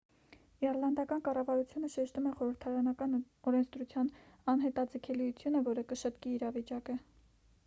իռլանդական կառավարությունը շեշտում է խորհրդարանական օրենսդրության անհետաձգելիությունը որը կշտկի իրավիճակը